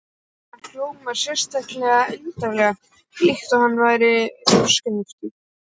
Það hljómaði sérlega undarlega, líkt og hann væri þroskaheftur.